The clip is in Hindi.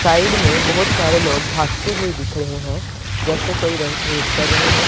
साइड में बहुत सारे लोग भागते हुए दिख रहे हैं जैसे कोई रह रेस कर रहे हो।